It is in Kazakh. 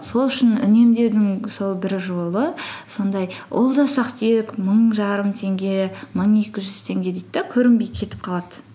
сол үшін үнемдеудің сол бір жолы сондай ол да ұсақ түйек мың жарым теңге мың екі жүз теңге дейді де көрінбей кетіп қалады